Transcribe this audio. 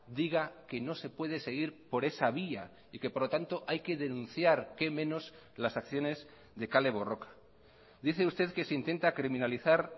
diga que no se puede seguir por esa vía y que por lo tanto hay que denunciar qué menos las acciones de kale borroka dice usted que se intenta criminalizar